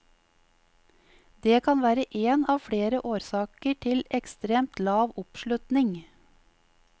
Det kan være én av flere årsaker til ekstremt lav oppslutning.